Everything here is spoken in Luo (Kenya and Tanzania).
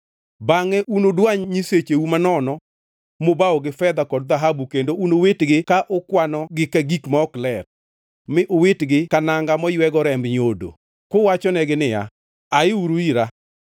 Bangʼe unudwany nyisecheu manono mubawo gi fedha kod dhahabu; kendo unuwitgi ka ukwano gi ka gik ma ok ler, mi uwitgi ka nanga moywego remb nyodo, kuwachonegi niya, “Aiuru ira.”